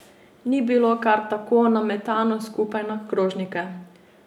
Ni bilo kar tako nametano skupaj na krožnike.